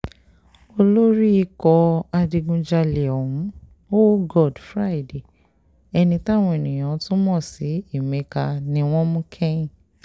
olórí ikọ̀ àwọn adigunjalè ọ̀hún hoogod friday ẹni táwọn èèyàn tún mọ̀ sí emeka ni wọ́n mú kẹ́yìn